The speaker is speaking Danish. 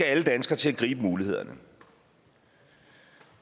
alle danskere til at gribe mulighederne